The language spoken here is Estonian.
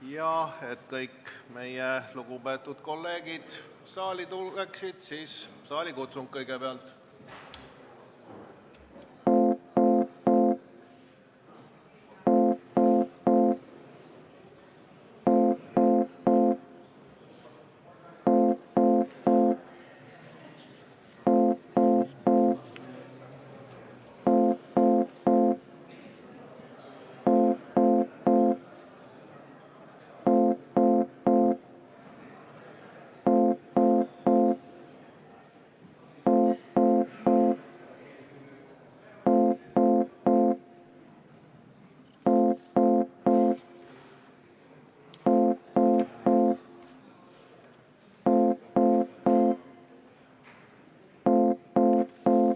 Ja et kõik meie lugupeetud kolleegid saali tuleksid, siis saalikutsung kõigepealt.